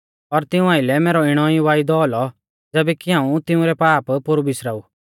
और तिऊं आइलै मैरौ इणौ ई वायदौ औलौ ज़ैबै कि हाऊं तिऊं रै पाप पोरु बिसरा ऊ